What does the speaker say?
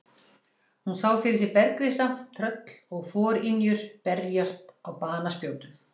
Hún sá fyrir sér bergrisa, tröll og forynjur berast á banaspjótum.